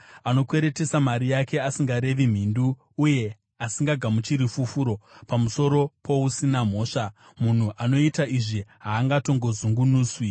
anokweretesa mari yake asingarevi mhindu uye asingagamuchiri fufuro pamusoro pousina mhosva. Munhu anoita izvi haangatongozungunuswi.